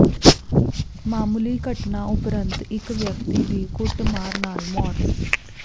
ਮਾਮੂਲੀ ਘਟਨਾ ਉਪਰੰਤ ਇਕ ਵਿਅਕਤੀ ਦੀ ਕੁੱਟਮਾਰ ਨਾਲ ਮੌਤ